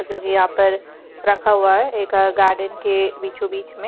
जो ये यहां पर रखा हुआ एक गार्डन के बीचों बीच में--